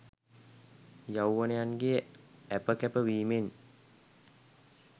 යෞවනයන්ගේ ඇප කැප වීමෙනි.